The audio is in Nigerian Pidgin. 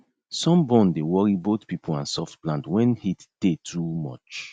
sunburn dey worry both pipo and soft plant wen heat tey too much